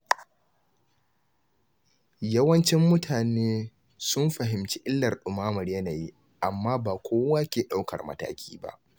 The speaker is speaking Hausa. Yawancin mutane sun fahimci illar dumamar yanayi, amma ba kowa ke daukar mataki ba.